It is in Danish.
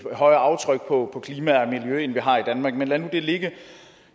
højere aftryk på klima og miljø end vi har i danmark men lad nu det ligge